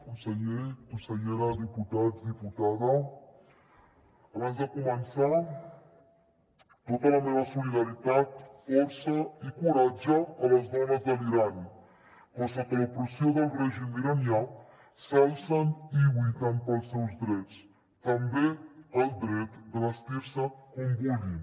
conseller consellera diputats diputada abans de començar tota la meva solidaritat força i coratge a les dones de l’iran que sota l’opressió del règim iranià s’alcen i lluiten pels seus drets també el dret de vestir se com vulguin